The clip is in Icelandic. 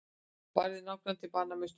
Barði nágrannann til bana með snjóskóflu